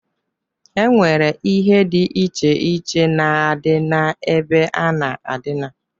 E nwere ihe di iche iche na-adị na-ebe a na-adina.